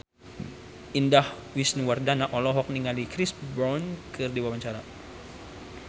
Indah Wisnuwardana olohok ningali Chris Brown keur diwawancara